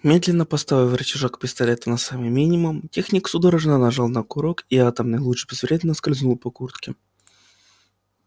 медленно поставив рычажок пистолета на самый минимум техник судорожно нажал на курок и атомный луч безвредно скользнул по куртке